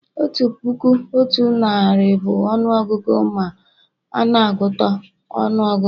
otu puku otu narị bụ ọnụ ọgụgụ ma a n'agụta ọnụọgụgụ